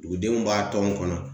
Dugudenw b'a tɔn kɔnɔ .